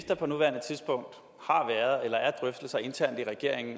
der har været drøftelser internt i regeringen